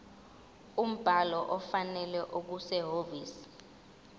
umbhalo ofanele okusehhovisi